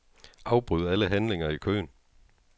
Afbryd alle handlinger i køen.